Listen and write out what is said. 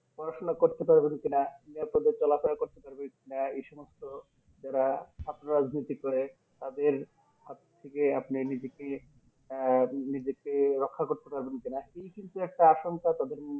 পড়াশোনা করতে পারবেন কিনা নিরাপদে চলা ফেরা করতে পারবে কিনা এই সমস্ত যারা ছাত্র রাজনৈতিক করে তাদের হাত থেকে আপনি নিজেকে আহ নিজেকে রক্ষা করতে পারবেন কিনা এই কিন্তু একটা আসংখ্যা তাদের মধ্যে